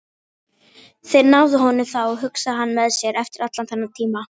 Þeir náðu honum þá, hugsaði hann með sér, eftir allan þennan tíma.